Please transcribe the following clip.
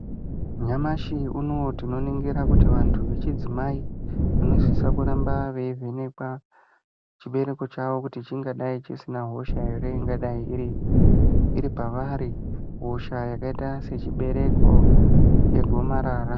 Nyamashi unowu tinoningira, kuti vanthu vechidzimai, vanosisa kuramba veivhenekwa chibereko chawo, kuti chingadai chisina hosha ere ingadai iri pavari, hosha yakaita se chibereko, yegomarara.